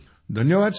धन्यवाद सर